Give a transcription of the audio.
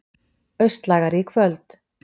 Austlægari í kvöld